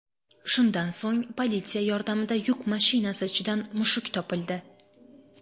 Shundan so‘ng politsiya yordamida yuk mashinasi ichidan mushuk topildi.